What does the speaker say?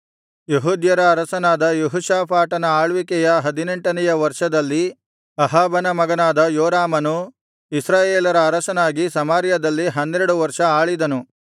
ಯೆಹೂದ್ಯರ ಅರಸನಾದ ಯೆಹೋಷಾಫಾಟನ ಆಳ್ವಿಕೆಯ ಹದಿನೆಂಟನೆಯ ವರ್ಷದಲ್ಲಿ ಅಹಾಬನ ಮಗನಾದ ಯೋರಾಮನು ಇಸ್ರಾಯೇಲರ ಅರಸನಾಗಿ ಸಮಾರ್ಯದಲ್ಲಿ ಹನ್ನೆರಡು ವರ್ಷ ಆಳಿದನು